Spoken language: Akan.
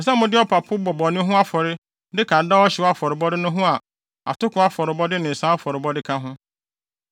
Ɛsɛ sɛ mode ɔpapo bɔ bɔne ho afɔre de ka daa ɔhyew afɔrebɔ no ho a atoko afɔrebɔde ne nsa afɔrebɔde ka ho.